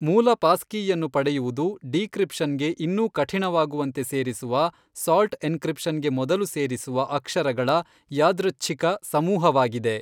ಮೂಲ ಪಾಸ್ಕೀಯನ್ನು ಪಡೆಯುವುದು ಡೀಕ್ರಿಪ್ಶನ್ಗೆ ಇನ್ನೂ ಕಠಿಣವಾಗುವಂತೆ ಸೇರಿಸುವ ಸಾಲ್ಟ್ ಎನ್ಕ್ರಿಪ್ಶನ್ಗೆ ಮೊದಲು ಸೇರಿಸುವ ಅಕ್ಷರಗಳ ಯಾದೃಚ್ಛಿಕ ಸಮೂಹವಾಗಿದೆ.